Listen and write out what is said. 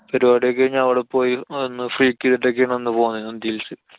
പരിപാട്യൊക്കെ കഴിഞ്ഞ് അവടെ പോയി ഒന്നു freak ചെയ്തിട്ടൊക്കെ ആണ് അന്നു പോന്നെ നന്ദി hills.